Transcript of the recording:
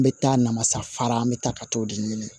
N bɛ taa namasa fara an bɛ taa ka t'o de ɲini